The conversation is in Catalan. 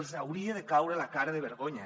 els hauria de caure la cara de vergonya